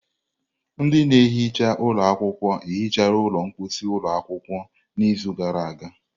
Ndị na-ehicha ụlọ akwụkwọ hichara ụlọ mposi ụlọ akwụkwọ n'izu gara aga.